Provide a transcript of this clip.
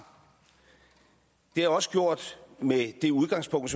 jeg også gjort med det udgangspunkt